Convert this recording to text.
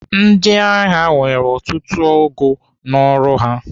Ndịagha nwere ọtụtụ ogo n'ọrụ ha.